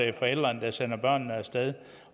det forældrene der sender børnene af sted